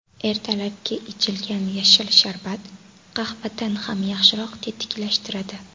Ertalabki ichilgan yashil sharbat qahvadan ham yaxshiroq tetiklashtiradi.